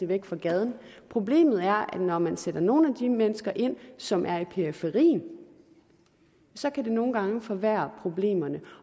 væk fra gaden problemet er det når man sætter nogle af de mennesker derind som er i periferien så nogle gange kan forværre problemerne